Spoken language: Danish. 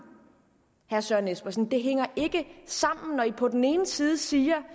jeg søren espersen det hænger ikke sammen når man på den ene side siger